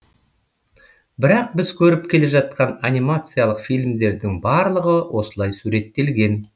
бірақ біз көріп келе жатқан анимациялық фильмдердің барлығы осылай суреттелген